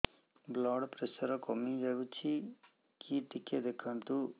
blood pressure କମି ଯାଉଛି କି ଟିକେ ଦେଖନ୍ତୁ